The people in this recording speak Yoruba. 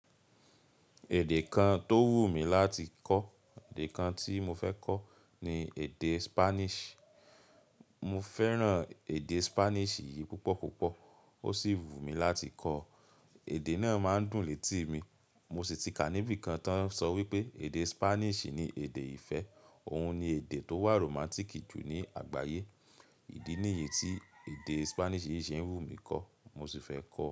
Èdè kan tó wù mí láti kọ́, èdè kan tí mo fẹ́ kọ́ ni èdè Spanish. Mo fẹ́ràn èdè Spanish yìí púpọ̀ púpọ̀, ó sì wù mí láti kọ́. Èdè náà máa ń dùn létí mi. Mo sì ti kàní bí kan tó ń sọ wípé èdè Spanish ni èdè ìfẹ́, òun ni èdè tó wà romantic jù ní àgbáyé. Ìdí nìyí tí èdè Spanish yìí ṣe ń wù mí kọ́, mo sì fẹ́ kọ́